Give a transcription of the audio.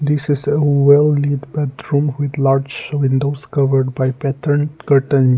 this is a well lit bedroom with large windows covered by patterned curtain.